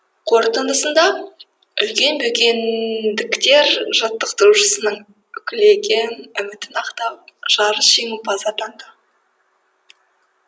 қорытындысында үлкен бөкендіктер жаттықтырушысының үкілеген үмітін ақтап жарыс жеңімпазы атанды